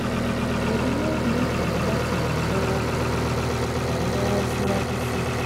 Emi yoo ni idunnu lati ran ọ lọwọ ọ lọwọ siwaju sii